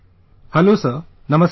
Hello Sir, Namaskar